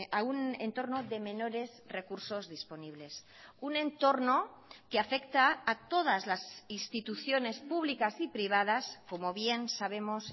a un entorno de menores recursos disponibles un entorno que afecta a todas las instituciones públicas y privadas como bien sabemos